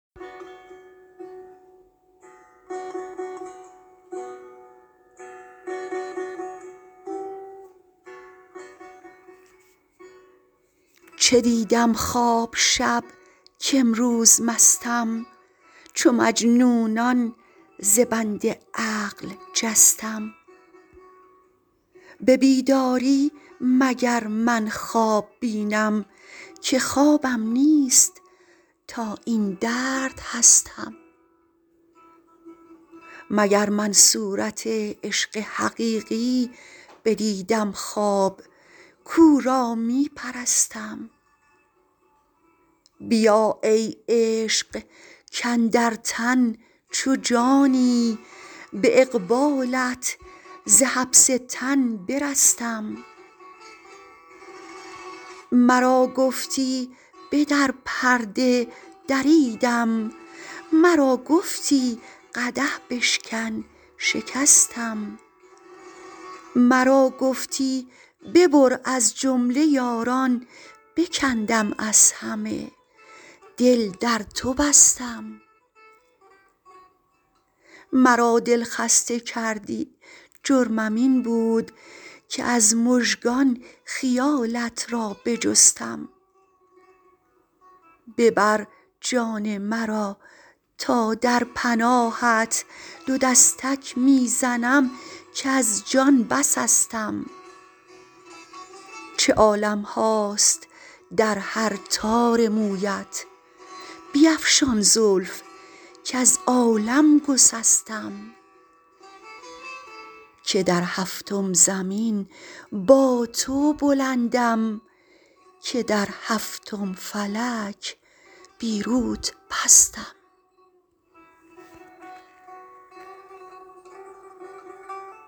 چه دیدم خواب شب کامروز مستم چو مجنونان ز بند عقل جستم به بیداری مگر من خواب بینم که خوابم نیست تا این درد هستم مگر من صورت عشق حقیقی بدیدم خواب کو را می پرستم بیا ای عشق کاندر تن چو جانی به اقبالت ز حبس تن برستم مرا گفتی بدر پرده دریدم مرا گفتی قدح بشکن شکستم مرا گفتی ببر از جمله یاران بکندم از همه دل در تو بستم مرا دل خسته کردی جرمم این بود که از مژگان خیالت را بجستم ببر جان مرا تا در پناهت دو دستک می زنم کز جان بسستم چه عالم هاست در هر تار مویت بیفشان زلف کز عالم گسستم که در هفتم زمین با تو بلندم که در هفتم فلک بی روت پستم